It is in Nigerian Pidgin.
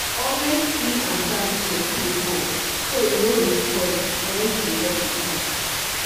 always clean and service your spray pump so e no go spoil when you dey work with am.